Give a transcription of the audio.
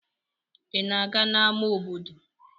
Ị na-aga n'ámá obodo?